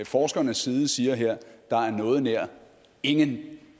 forskernes side siger her at der noget nær ingen